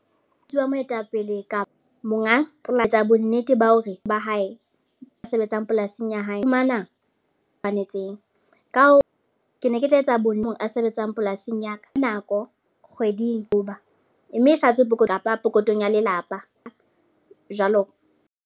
Ke wa moetapele ka monga polasi a bonnete ba hore ba hae ba sebetsang polasing ya hae. Ba fumana tshwanetseng. Ka hoo, ke ne ke tla etsa bonne a sebetsang polasing ya ka. Ka nako kgweding hoba mme e sa tswe pokotho kapa pokothong ya lelapa, jwalo.